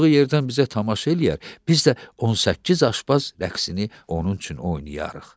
O oturduğu yerdən bizə tamaşa eləyər, biz də 18 aşpaz rəqsini onun üçün oynayarıq.